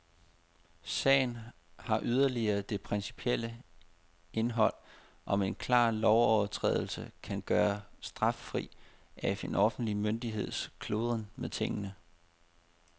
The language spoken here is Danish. Sagen har yderligere det principielle indhold, om en klar lovovertrædelse kan gøres straffri af en offentlig myndigheds kludren med tingene.